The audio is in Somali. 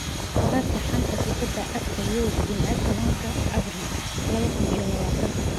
Wararka xanta kubada cagta Yurub Jimce tobanka abriil laba kuun iyo labatan: Messi, Grealish, Mbappe, Pedro, Coutinho